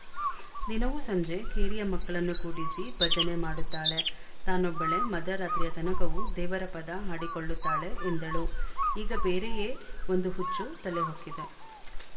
ದಿನವೂ ಸಂಜೆ ಕೇರಿಯ ಮಕ್ಕಳನ್ನು ಕೂಡಿಸಿ ಭಜನೆ ಮಾಡುತ್ತಾಳೆ ತಾನೊಬ್ಬಳೇ ಮಧ್ಯರಾತ್ರಿಯ ತನಕವೂ ದೇವರ ಪದ ಹಾಡಿಕೊಳ್ಳುತ್ತಾಳೆ ಎಂದಳು ಈಗ ಬೇರೆಯೇ ಒಂದು ಹುಚ್ಚು ತಲೆ ಹೊಕ್ಕಿದೆ